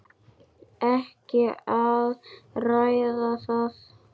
Ekki að ræða það.